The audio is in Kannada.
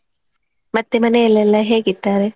ಮತ್ತೇ ಮನೆಯೆಲೆಲ್ಲಾ ಹೇಗಿದ್ದಾರೆ?